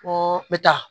Ko n bɛ taa